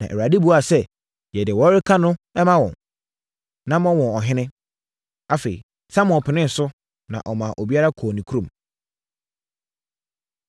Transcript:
na Awurade buaa sɛ, “Yɛ deɛ wɔreka no ma wɔn, na ma wɔn ɔhene.” Afei, Samuel penee so, na ɔmaa obiara kɔɔ ne kurom.